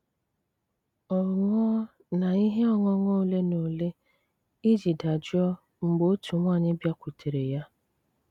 Ó ṅụọ na íhé ọ́ṅụ́ṅụ́ ólé ná ólé íjì dájụ́ó mgbé ótú̀ nwàńyị́ bịákwutéré yá.